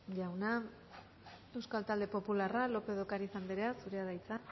jauna euskal talde popularra lópez de ocariz anderea zurea da hitza